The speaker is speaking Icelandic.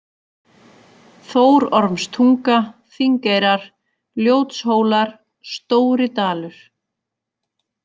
Þórormstunga, Þingeyrar, Ljótshólar, Stóri-Dalur